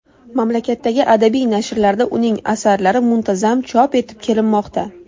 Mamlakatdagi adabiy nashrlarda uning asarlari muntazam chop etib kelinmoqda.